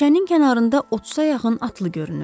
Meşənin kənarında 30-a yaxın atlı görünürdü.